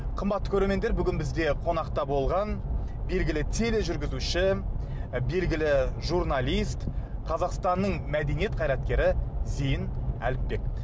қымбатты көрермендер бүгін бізде қонақта болған белгілі тележүргізуші белгілі журналист қазақстанның мәдениет қайраткері зейін әліпбек